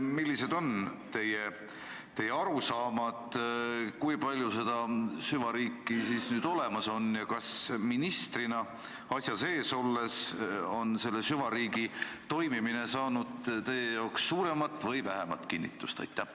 Millised on teie arusaamad: kui palju seda süvariiki siis nüüd olemas on ja kas ministrina asja sees olles on selle süvariigi toimimine saanud teie jaoks suuremat või vähemat kinnitust?